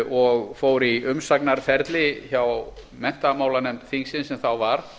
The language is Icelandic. og fór í umsagna ferli hjá menntamálanefnd þingsins sem þá var